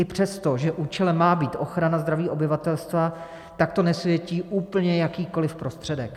I přesto, že účelem má být ochrana zdraví obyvatelstva, tak to nesvětí úplně jakýkoliv prostředek.